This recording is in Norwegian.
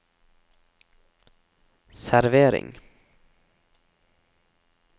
servering